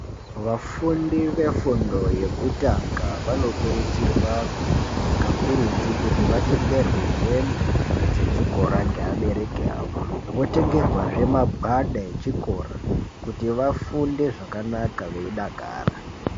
Vafundi vefundo yekutanga vanokurudzirwa kakurutu kuti vatengerwe hembe dzechikora ngeabereki vawo votengerwazve magwada echikora kuti vafunde zvakanaka veidakara.